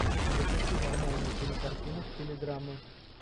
запусти нормальную кинокартину в стиле драмы